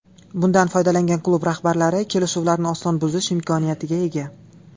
Bundan foydalangan klub rahbarlari kelishuvlarni oson buzish imkoniyatiga ega.